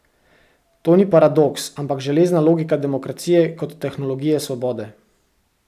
To ni paradoks, ampak železna logika demokracije kot tehnologije svobode.